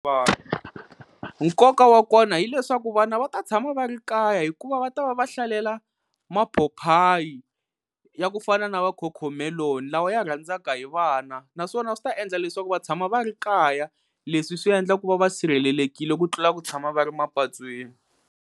nkoka wa kona hileswaku vana va ta tshama va ri kaya hikuva va ta va va hlalela maphophayi ya ku fana na va-cocomelon lawa ya rhandzaka hi vana naswona swi ta endla leswaku va tshama va ri kaya leswi swi endla ku va va sirhelelekile ku tlula ku tshama va ri mapatwini.